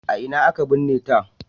A ina aka binne ta?